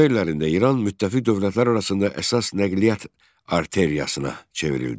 Müharibə illərində İran müttəfiq dövlətlər arasında əsas nəqliyyat arteriyasına çevrildi.